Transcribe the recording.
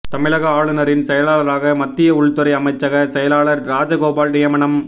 தமிழக ஆளுநரின் செயலாளராக மத்திய உள்துறை அமைச்சக செயலாளர் ராஜகோபால் நியமனம்